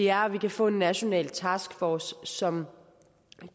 er at man kan få en national taskforce som